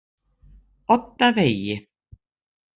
Oddavegi